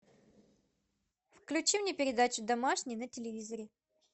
включи мне передачу домашний на телевизоре